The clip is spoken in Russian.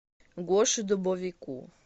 гоше дубовику